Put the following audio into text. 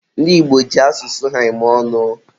ndị Igbo ji asụsụ ha eme ọnụ